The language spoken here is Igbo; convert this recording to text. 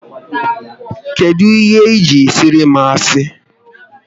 Kedụ ihe ji siara m asị?